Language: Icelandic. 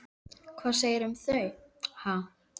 Hvað segirðu um þau, ha?